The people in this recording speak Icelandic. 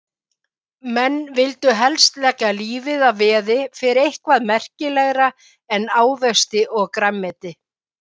Menn vildu helst leggja lífið að veði fyrir eitthvað merkilegra en ávexti og grænmeti.